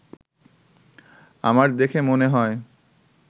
আমার দেখে মনে হয়